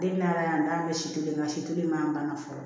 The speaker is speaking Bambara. Den n'a ala y'an da si kelen na si kelen man banna fɔlɔ